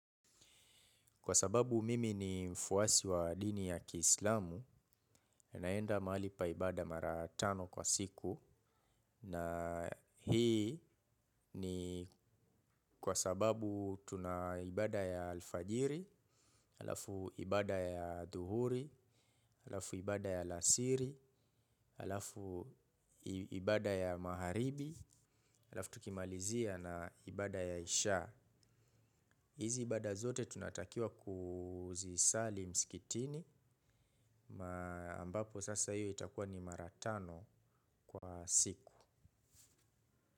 Kwa sababu mimi ni mfuasi wa dini ya kiislamu naenda mahali pa ibada mara tano kwa siku na hii ni kwa sababu tuna ibada ya alfajiri, alafu ibada ya adhuhuri, alafu ibada ya alasiri, alafu ibada ya magharibi, alafu tukimalizia na ibada ya isha. Hizi ibada zote tunatakiwa kuzisali mskitini, ambapo sasa iyo itakuwa ni mara tano kwa siku.